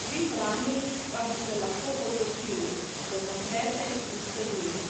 Vi vrani pa bi se lahko odločili, da zaprete tiste duri.